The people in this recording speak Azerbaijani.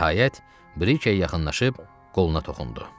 Nəhayət, Brike yaxınlaşıb qoluna toxundu.